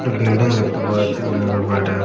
একটা বিল্ডিং দেখতে পাওয়া যাচ্ছে বিল্ডিং -এর বাইরে--